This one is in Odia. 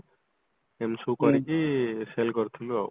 ଏମତି ସବୁ କରିକି cell କରିଥିଲୁ ଆଉ